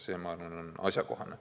See, ma arvan, on asjakohane.